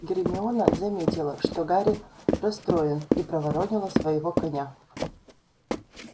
гермиона заметила что гарри расстроен и проворонила своего коня